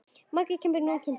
Maggi kom nú og kynnti.